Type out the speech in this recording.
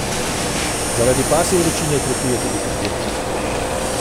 Zaradi pasje vročine trpijo tudi pridelki.